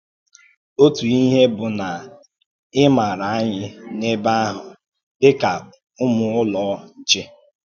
Ǒtù ìhè bụ́ na é màrà ànyì n’ẹ̀bè ahụ̀ dì ka Ụ́mù Ụ́lọ̀ Nché.